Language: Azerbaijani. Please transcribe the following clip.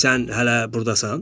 Sən hələ burdasan?